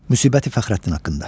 Müsibəti Fəxrəddin haqqında.